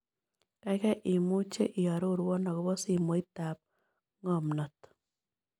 Kaigai imuche iarorwon ago po simoitap ng'omnat